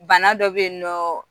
Bana dɔ bɛ yen nɔɔɔn